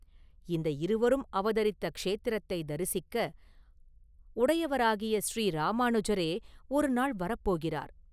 இந்த இருவரும் அவதரித்த க்ஷேத்திரத்தைத் தரிசிக்க, உடையவராகிய ஸரீ ராமானுஜரே ஒரு நாள் வரபோகிறார்.